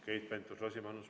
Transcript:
Keit Pentus-Rosimannus.